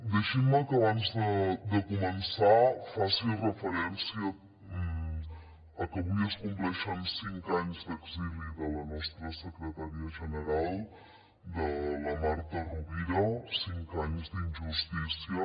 deixin me que abans de començar faci referència a que avui es compleixen cinc anys d’exili de la nostra secretària general de la marta rovira cinc anys d’injustícia